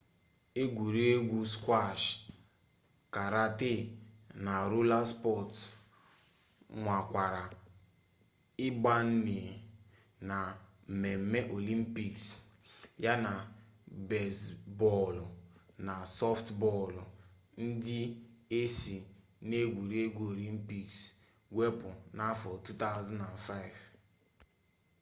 egwuregwu skwash karate na rola spọts nwakwara ịbanye na mmemme olympic yana bezbọọlụ na sọftbọọlụ ndị e si n'egwuregwu olympic wepụ n'afọ 2005